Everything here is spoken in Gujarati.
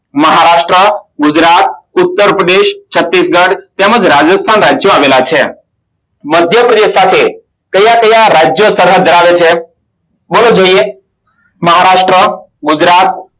મહારાષ્ટ્ર રૂદ્રાક ઉત્તરપ્રદેશ છાતીશગઢ તેમજ રાજસ્થાન રાજ્યો આવેલા છે મધ્યપ્રદેશ સાથે કાયા કાયા રાજ્યો બોલો જોઇએ મહારાષ્ટ્ર ગુજરાત